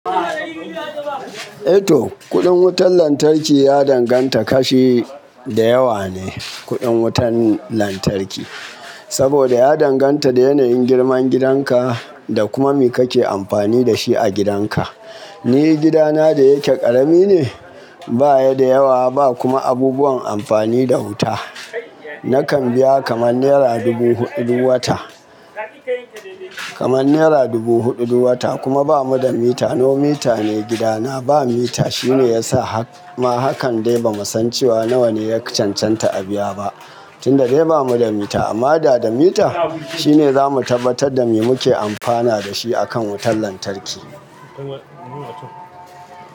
Eto, kuɗin wutan lantarki ya danganta kashi da yawa ne, kuɗin wutan lantarki, saboda ya danganta da yanayin girman gidan ka da kuma me kake amfani da shi a gidan ka. Ni gida na da yake ƙarami ne, baya da yawa ba kuma abubuwan amfani da wuta. Nakan biya kama nera dubu huɗu duk wata. Kaman nera dubu huɗu duk wata kuma bamu da mita, no mita ne gida na. Ba mita shine yasa hakan dai ba mu san cewa nawa ne yaka cancanta a biya ba, tunda dai ba mu da mita. Amma da da mita shine zamu tabbatar da me muke amfana da shi akan wutan lantarki.